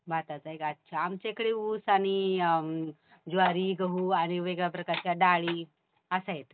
भाताचं आहे का अच्छा. आमच्याकडे ऊस आणि ज्वारी, गहू आणि वेगळ्या प्रकारच्या डाळी असं आहेत.